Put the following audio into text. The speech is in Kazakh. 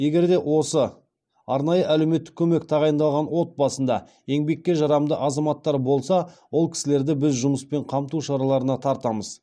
егер де осы арнайы әлеуметті көмек тағайындалған отбасында еңбекке жарамды азаматтар болса ол кісілерді біз жұмыспен қамту шараларына тартамыз